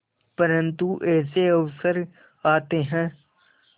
परंतु ऐसे अवसर आते हैं